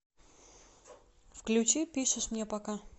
включи пишешь мне пока